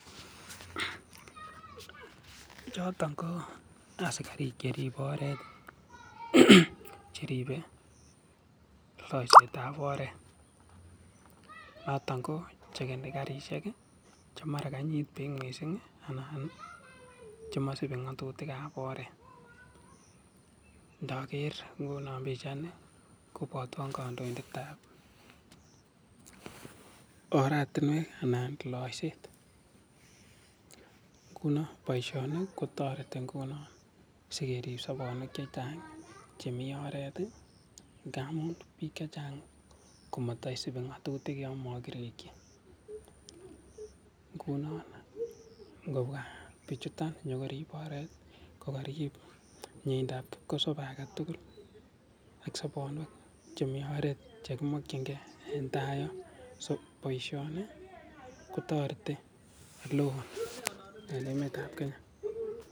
Chotok koo asikarik cheribe oret cheribe loiset ab oret noton koo chekni karishek che mara kainyit bik missing anan nii chemoisibi ngotutik ab oret, indoker inguno pichaini kobwotwon kondoindet ab oratinwek anan loiset inguno boishoni kotoreti inguno sikerib sobonwek che chang chemii oret tii ingamun bik chechang komotoisibi ngotutik yonmokiriki. Inguno ikobwa bichutok inyokorib oret kokorib miendap kipkosobe agetukul ak sobonuek chemii oret chekimokin gee en tai yon so boishoni kotoreti oleo en emet ab kenya.